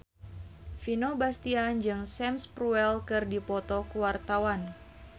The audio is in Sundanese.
Vino Bastian jeung Sam Spruell keur dipoto ku wartawan